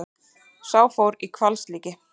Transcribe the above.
Sá fór í hvalslíki.